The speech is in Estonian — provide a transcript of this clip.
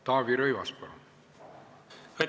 Taavi Rõivas, palun!